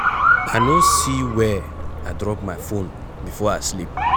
I no see where I drop my phone before I sleep